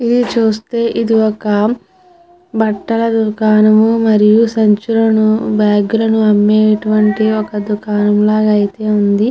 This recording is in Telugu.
ఇది చూస్తే ఇది ఒక బట్టల దుకానము మరియు సంచులను బ్యాగ్ లను అమ్మేటువంటి ఒక దుకాణం లాగా అయితే ఉంది.